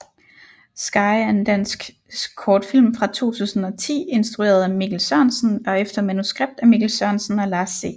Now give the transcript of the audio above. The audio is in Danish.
Sky er en dansk kortfilm fra 2010 instrueret af Mikkel Sørensen og efter manuskript af Mikkel Sørensen og Lars C